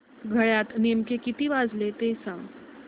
घड्याळात नेमके किती वाजले ते सांग